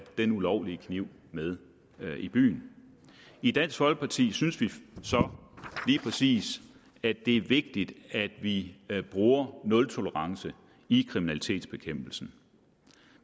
den ulovlige kniv med i byen i dansk folkeparti synes vi så lige præcis at det er vigtigt at vi bruger nultolerance i kriminalitetsbekæmpelsen